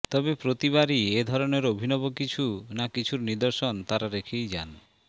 তবে প্রতিবারই এ ধরনের অভিনব কিছু না কিছুর নিদর্শন তাঁরা রেখেই যান